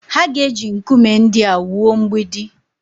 Ha ga-eji nkume ndị a wuo mgbidi